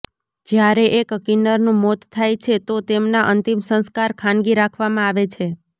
જ્યારે એક કિન્નરનું મોત થાય છે તો એમના અંતિમ સંસ્કાર ખાનગી રાખવામાં આવે છે